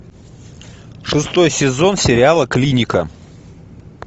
шестой сезон сериала клиника